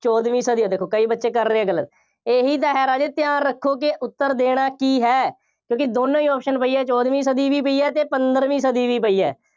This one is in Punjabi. ਚੋਦਵੀਂ ਸਦੀ ਹੈ। ਦੇਖੋ ਕਈ ਬੱਚੇ ਕਰ ਰਹੇ ਗਲਤ। ਇਹੀ ਤਾਂ ਹੈ ਰਾਜੇ ਧਿਆਨ ਰੱਖੋ ਕਿ ਉੱਤਰ ਦੇਣਾ ਕੀ ਹੈ। ਕਿਉਂਕਿ ਦੋਨੋਂ ਹੀ option ਪਈ ਆ, ਚੋਦਵੀਂ ਸਦੀ ਵੀ ਪਈ ਹੈ ਅਤੇ ਪੰਦਰਵੀਂ ਸਦੀ ਵੀ ਪਈ ਹੈ।